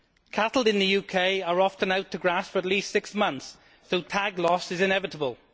Cattle in the UK are often out to grass for at least six months so tag loss is inevitable.